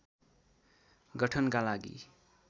गठनका लागि